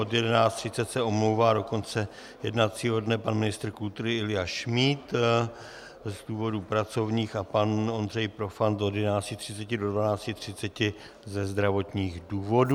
Od 11.30 se omlouvá do konce jednacího dne pan ministr kultury Ilja Šmíd z důvodů pracovních a pan Ondřej Profant od 11.30 do 12.30 ze zdravotních důvodů.